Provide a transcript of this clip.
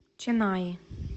ченнаи